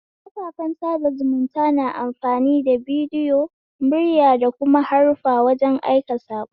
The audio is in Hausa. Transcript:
Kafafen sada zumunta na amfani da bidiyo, murya da kuma haruffa wajen aika sako.